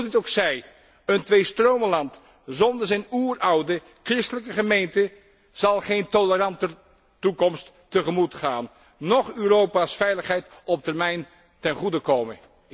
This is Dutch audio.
Hoe het ook zij, een Tweestromenland zonder zijn oeroude christelijke gemeente zal geen toleranter toekomst tegemoet gaan, noch Europa's veiligheid op termijn ten goede komen.